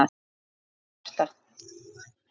Hvíldu hjarta.